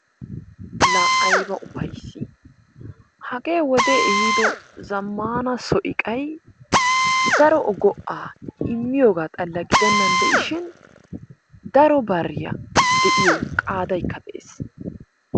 Laa ayba ufayssii! Hagee wodee ehiido zammaana so iqay daro go"aa immiyogaa xalla gidennan de'ishin daro bariya de'iyo qaadaykka de'ees.